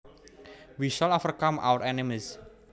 We shall overcome our enemies